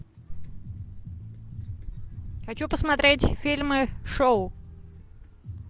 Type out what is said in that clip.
хочу посмотреть фильмы шоу